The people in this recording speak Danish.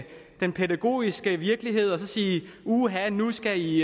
den pædagogiske virkelighed og så sige uha nu skal i